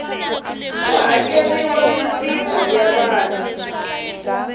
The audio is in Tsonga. ku hakeriwa mimpimo ya vana